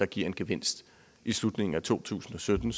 giver en gevinst i slutningen af to tusind og sytten